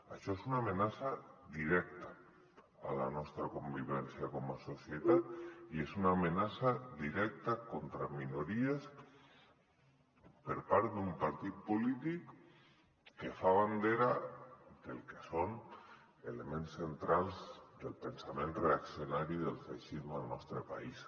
això és una amenaça directa a la nostra con·vivència com a societat i és una amenaça directa contra minories per part d’un par·tit polític que fa bandera del que són elements centrals del pensament reaccionari del feixisme al nostre país